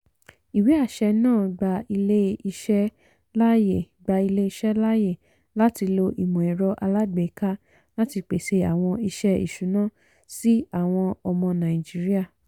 ìwé-àṣẹ náà gba ilé-iṣẹ́ láàyè gba ilé-iṣẹ́ láàyè láti ló ìmọ̀-ẹ̀rọ alágbèéka láti pèsè àwọn iṣẹ́ ìṣùná sí àwọn ọmọ nàìjíríà.